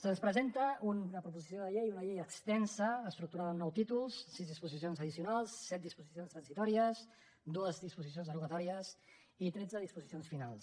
se’ns presenta una proposició de llei una llei extensa estructurada en nou títols sis disposicions addicio nals set disposicions transitòries dues disposicions derogatòries i tretze disposicions finals